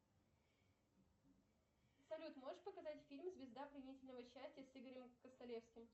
салют можешь показать фильм звезда пленительного счастья с игорем косталевским